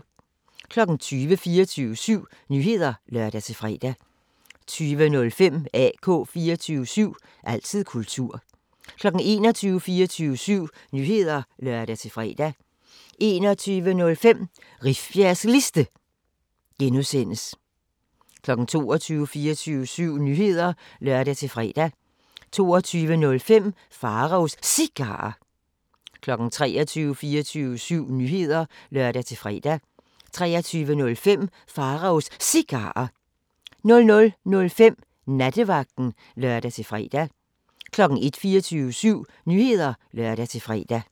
20:00: 24syv Nyheder (lør-fre) 20:05: AK 24syv – altid kultur 21:00: 24syv Nyheder (lør-fre) 21:05: Rifbjergs Liste (G) 22:00: 24syv Nyheder (lør-fre) 22:05: Pharaos Cigarer 23:00: 24syv Nyheder (lør-fre) 23:05: Pharaos Cigarer 00:05: Nattevagten (lør-fre) 01:00: 24syv Nyheder (lør-fre)